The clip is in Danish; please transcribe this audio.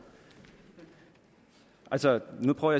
altså nu prøver